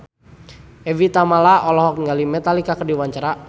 Evie Tamala olohok ningali Metallica keur diwawancara